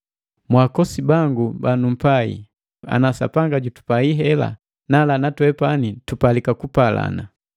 Mwaakosi bangu banumpai, ana Sapanga jutupai hela, nala natwepani tupalika kupalana.